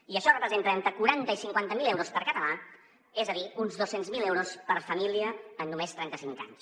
i això representa entre quaranta i cinquanta mil euros per català és a dir uns dos cents miler euros per família en només trenta cinc anys